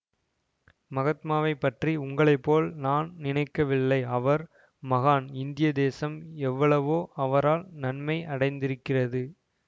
மகாத்மாவைப்பற்றி உங்களைப்போல் நான் நினைக்கவில்லை அவர் மகான் இந்திய தேசம் எவ்வளவோ அவரால் நன்மை அடைந்திருக்கிறது